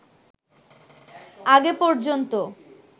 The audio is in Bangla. আগে পর্যন্ত